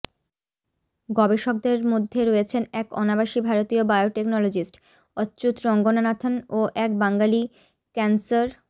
গবেষকদের মধ্যে রয়েছেন এক অনাবাসী ভারতীয় বায়োটেকনোলজিস্ট অচ্যূত রঙ্গনাথন ও এক বাঙালি ক্যানসার